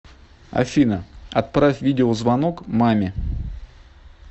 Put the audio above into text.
афина отправь видеозвонок маме